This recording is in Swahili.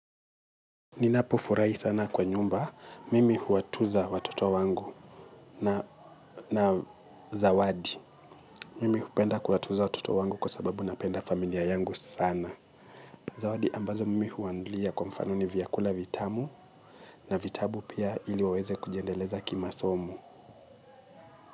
Ninapofurahi sana kwa nyumba. Mimi huwatuza watoto wangu na zawadi. Mimi hupenda kuwatuza watoto wangu kwa sababu napenda familia yangu sana. Zawadi ambazo mimi huwanunulia kwa mfano ni vyakula vitamu na vitabu pia ili waweze kujiendeleza kimasomo.